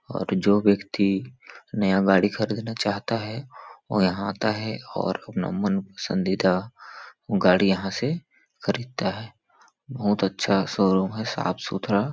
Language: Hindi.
और जो व्यक्ति नया गाड़ी ख़रीदना चाहता वो यहाँ आता है और अपना मन पसंदीदा गाड़ी यहाँ से खरीदता है बहुत अच्छा शो रूम है साफ सुथरा--